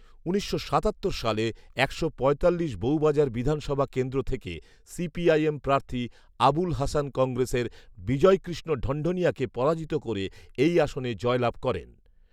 উনিশশো সাতাত্তর সালে একশো পঁয়তাল্লিশ বউবাজার বিধানসভা কেন্দ্র থেকে সিপিআইএম প্রার্থী আবুল হাসান কংগ্রেসের বিজয়কৃষ্ণ ঢনঢনিয়াকে পরাজিত করে এই আসনে জয় লাভ করেন।